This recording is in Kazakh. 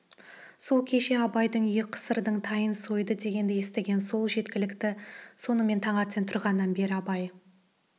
ол кеше абайдың үйі қысырдың тайын сойды дегенді естіген сол жеткілікті сонымен таңертең тұрғаннан бері абай